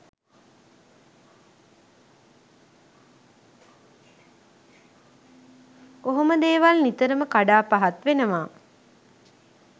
ඔහොම දේවල් නිතරම කඩා පහත් වෙනව.